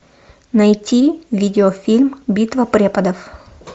найти видеофильм битва преподов